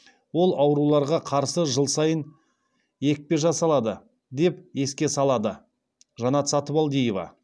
ол ауруларға қарсы жыл сайын екпе жасалады деп еске салады жанат сатыбалдиева